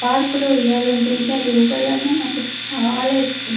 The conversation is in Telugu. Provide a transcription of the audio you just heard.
పార్క్ లో ఉయ్యాల ఉంటుంది అది ఉగాలన్న నాకు చాలా ఇష్టము.